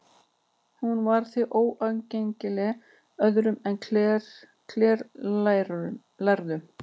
Hún var því óaðgengileg öðrum en klerklærðum.